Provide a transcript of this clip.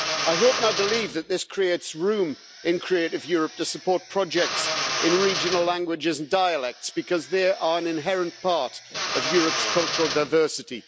I hope and I believe that this creates room in Creative Europe to support projects in regional languages and dialects, because they are an inherent part of Europe's cultural diversity.